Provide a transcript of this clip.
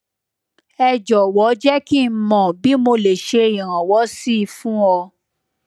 ẹ jọwọ jẹ kí n mọ bí mo lè ṣe iranwọ sí i fún ọ